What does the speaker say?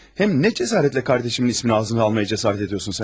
Həm nə cəsarətlə qardaşımın ismini ağzına almağa cəsarət ediyorsun sən?